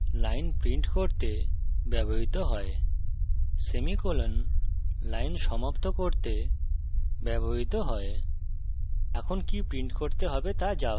এই statement line print করতে ব্যবহৃত হয় সেমিকোলন লাইন সমাপ্ত করতে ব্যবহৃত হয়